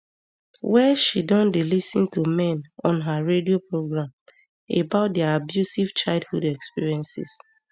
wey she don dey lis ten to men on her radio programme about dia abusive childhood experiences